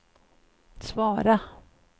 svara